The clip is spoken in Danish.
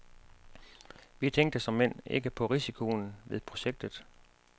Vi tænkte såmænd ikke på risikoen ved projektet.